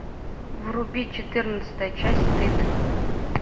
вруби четырнадцатая часть стыд